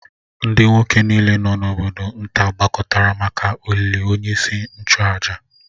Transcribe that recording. Ndị nwoke niile nọ n’obodo nta gbakọtara maka olili onyeisi nchụàjà